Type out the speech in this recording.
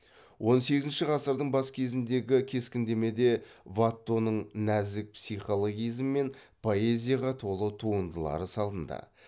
он сегізінші ғасырдың бас кезіндегі кескіндемеде ваттоның нәзік психологизм мен поэзияға толы туындылары салынды